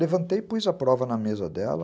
Levantei e pus a prova na mesa dela.